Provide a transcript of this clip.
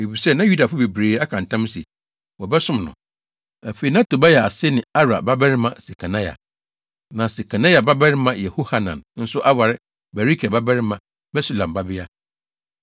Efisɛ na Yudafo bebree aka ntam sɛ, wɔbɛsom no. Afei, na Tobia ase ne Arah babarima Sekania. Na Sekania babarima Yehohanan nso aware Berekia babarima Mesulam babea.